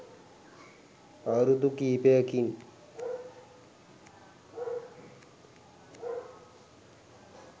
අවුරුදු කීපයකින්